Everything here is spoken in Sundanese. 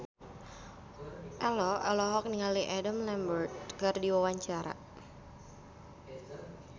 Ello olohok ningali Adam Lambert keur diwawancara